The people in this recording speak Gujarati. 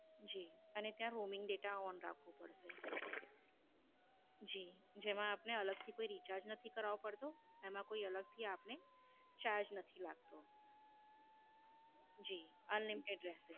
જી. અને ત્યાં Roming data on રાખવો પડશે. જી. જેમાં આપને અલગથી કોઈ Recharge નથી કરાવવું પડતું તેમાં કોઈ અલગથી આપણે Charge નથી લાગતો. જી. Unlimited રેહશે